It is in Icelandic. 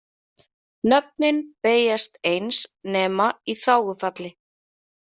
Nöfnin beygjast eins nema í þágufalli.